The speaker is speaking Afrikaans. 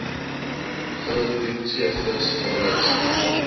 groot diepseevis verwys